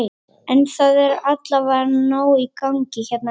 En það er allavega nóg í gangi hérna núna?